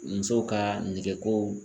Musow ka negekow